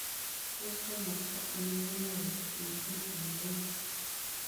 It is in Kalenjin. Tos' komosta ainon ne kaitit misiing' eng kenya